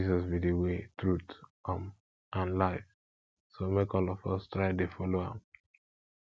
jesus be the way truth um and life so make all of us try to dey follow am